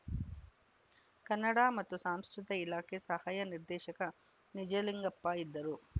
ಕನ್ನಡ ಮತ್ತು ಸಾಂಸ್ಕೃತಿ ಇಲಾಖೆ ಸಹಾಯಕ ನಿರ್ದೇಶಕ ನಿಜಲಿಂಗಪ್ಪ ಇದ್ದರು